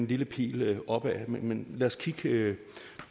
lille pil opad men lad os kigge